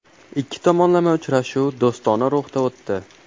Ikki tomonlama uchrashuv do‘stona ruhda o‘tdi.